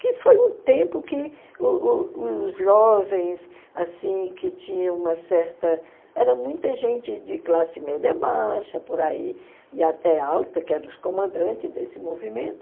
Que foi um tempo que o o os jovens, assim, que tinham uma certa... Era muita gente de classe média baixa, por aí, e até alta, que eram os comandantes desse movimento.